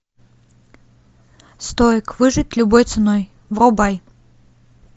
стоик выжить любой ценой врубай